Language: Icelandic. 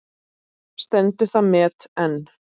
Stendur það met enn.